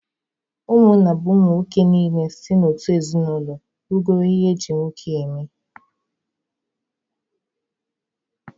Ụmụnna bụ ụmụ nwoke niile si n'otu ezinụlọ rugoro ihe eji nwoke eme